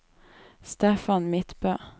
Stefan Midtbø